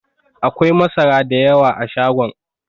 Akwai masara da yawa a shagon.